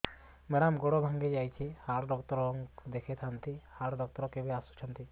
madam ଗୋଡ ଟା ଭାଙ୍ଗି ଯାଇଛି ହାଡ ଡକ୍ଟର ଙ୍କୁ ଦେଖାଇ ଥାଆନ୍ତି ହାଡ ଡକ୍ଟର କେବେ ଆସୁଛନ୍ତି